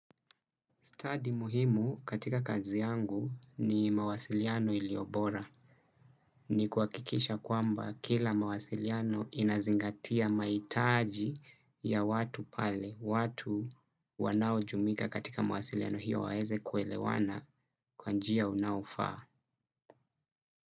Study muhimu katika kazi yangu ni mawasiliano iliyobora. Ni kuha kikisha kwamba kila mawasiliano inazingatia mahitaji ya watu pale. Watu wanaojumuika katika mawasiliano hiyo waeze kuelewana kwanjia unaofaa.